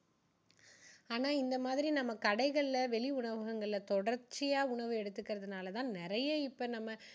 ஆனா இந்த மாதிரி நம்ம கடைகளில வெளி உணவங்களில தொடர்ச்சியா உணவு எடுத்துக்குறதுனால தான் நிறைய இப்போ நம்ம